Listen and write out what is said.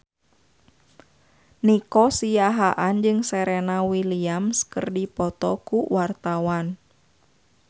Nico Siahaan jeung Serena Williams keur dipoto ku wartawan